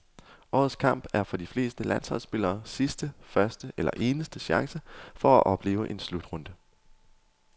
Årets kamp er for de fleste landsholdsspillere sidste, første eller eneste chance for at opleve en slutrunde.